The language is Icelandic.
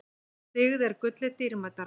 Dyggð er gulli dýrmætari.